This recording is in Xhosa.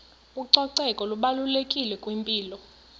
ucoceko lubalulekile kwimpilo